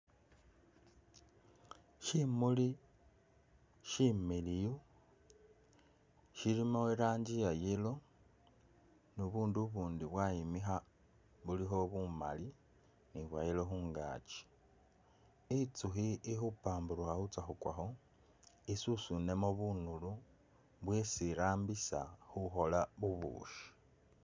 Shimuli shimiliyu shilimo iranji ya yellow ni bubundu ubundi bwayimikha bulikho bumali ni bwa yellow khungakyi, itsukhi i'khupamburukha khutsa khu kwakho isusune mu bunulu bwesi irambisa khukhola bubushi